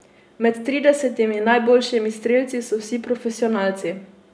Med tridesetimi najboljšimi strelci so vsi profesionalci.